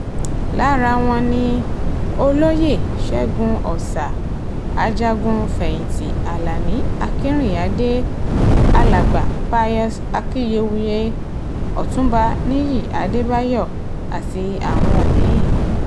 lára wọn ni olóyè ṣẹ́gun ọ̀sà ajagun-fẹ̀yìntì alani akinrinádá alàgbà pius akiyewuye ọtúnba nìyí adébáyò àti àwọn mí-ín